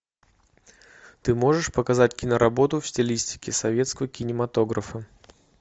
ты можешь показать киноработу в стилистике советского кинематографа